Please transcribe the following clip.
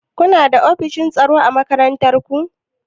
Kuna da ofishin tsaro a makarantar ku?